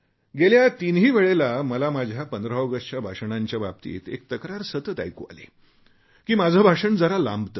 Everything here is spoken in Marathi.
गेल्या तिन्ही वेळेला मला माझ्या 15 ऑगस्टच्या भाषणांच्याबाबतीत एक तक्रार सतत ऐकू आली की माझे भाषण जरा लांबते